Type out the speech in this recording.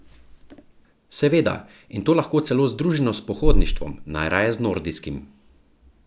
Seveda, in to lahko celo združeno s pohodništvom, najraje z nordijskim.